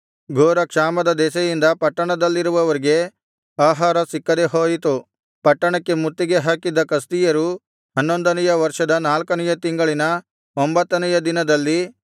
ಘೋರಕ್ಷಾಮದ ದೆಸೆಯಿಂದ ಪಟ್ಟಣದಲ್ಲಿರುವವರಿಗೆ ಆಹಾರ ಸಿಕ್ಕದೆಹೋಯಿತು ಪಟ್ಟಣಕ್ಕೆ ಮುತ್ತಿಗೆ ಹಾಕಿದ್ದ ಕಸ್ದೀಯರು ಹನ್ನೊಂದನೆಯ ವರ್ಷದ ನಾಲ್ಕನೆಯ ತಿಂಗಳಿನ ಒಂಭತ್ತನೆಯ ದಿನದಲ್ಲಿ